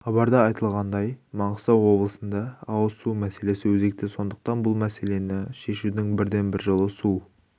хабарда айтылғандай маңғыстау облысында ауыз су мәселесі өзекті сондықтан бұл мәселені шешудің бірден бір жолы су